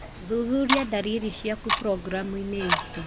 Thuthuria ndariri ciaku programuinĩ itũ.